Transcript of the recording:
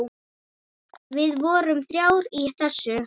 Við vorum þrjár í þessu.